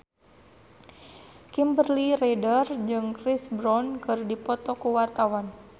Kimberly Ryder jeung Chris Brown keur dipoto ku wartawan